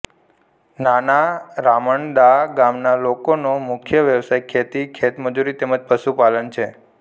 નાના રામણદા ગામના લોકોનો મુખ્ય વ્યવસાય ખેતી ખેતમજૂરી તેમ જ પશુપાલન છે